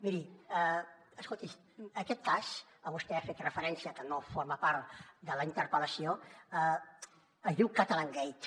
miri escolti aquest cas a què vostè ha fet referència que no forma part de la interpel·lació es diu catalangate